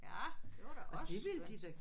Ja det var da også skønt